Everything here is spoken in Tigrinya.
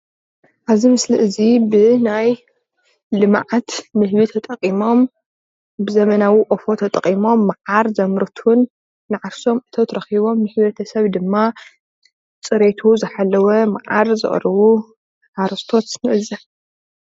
እዚ ምስሊ ዘመናዊ ቆፎ ንህቢ ኮይኑ ሓርስታት ፍርያት መዓር ዝእክብሉ እዩ።